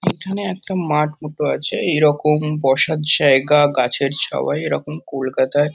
এখানে একটা মাঠ মতো আছে। এরকম বসার জায়গা গাছের ছাওয়ায় এরকম কলকাতায় --